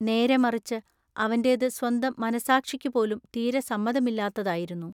നേരെമറിച്ചു അവന്റെതു സ്വന്ത മനസ്സാക്ഷിക്കുപോലും തീരെ സമ്മതമില്ലാത്തതാ യിരുന്നു.